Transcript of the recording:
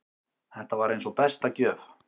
Þetta var eins og besta gjöf.